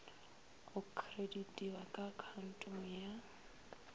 go kreditiwa ka akhaontong ya